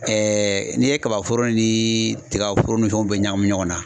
n'i ye kabaforo ni tigaforo ni fɛnw bɛɛ ɲagami ɲɔgɔn na.